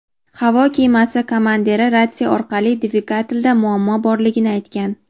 havo kemasi komandiri ratsiya orqali dvigatelda muammo borligini aytgan.